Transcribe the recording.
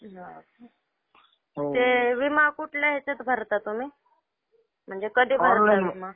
हा. ते विमा कुठल्या ह्याच्यात भरता तुम्ही? म्हणजे कधी भरता?